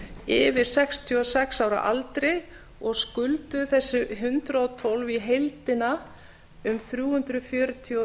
yfir sextíu og sex ára aldri og skulduðu þessir hundrað og tólf í heildina um þrjú hundruð fjörutíu og